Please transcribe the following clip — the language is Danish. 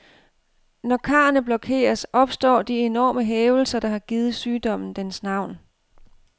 Når karrene blokeres, opstår de enorme hævelser, der har givet sygdommen dens navn.